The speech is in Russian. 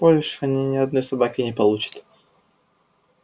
больше они ни одной собаки не получат